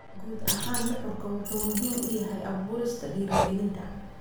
Guud ahaan, nuxurku wuxuu muhiim u yahay abuurista dhiirigelinta.